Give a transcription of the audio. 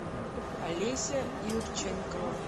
олеся юрченкова